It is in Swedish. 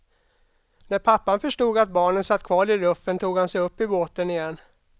När pappan förstod att barnen satt kvar i ruffen tog han sig upp i båten igen.